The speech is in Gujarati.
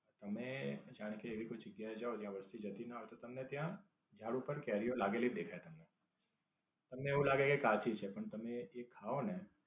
તમે જાણો કે કોઈ એવી જગ્યા એ જાઓ જ્યાં વસ્તી જતી ના હોય તો ત્યાં તમને ત્યાં ઝાડ પર કેરીઓ લાગેલી જ દેખાય છે તમને. તમને એવું લાગે કે કાચી છે પણ તમે એ ખાઓ ને